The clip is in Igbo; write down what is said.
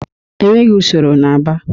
Enweghị usoro n'Aba.